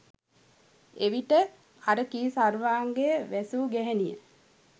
එවිට අර කී සර්වාංගය වැසූ ගැහැනිය